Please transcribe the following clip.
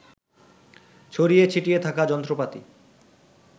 ছড়িয়ে ছিটিয়ে থাকা যন্ত্রপাতি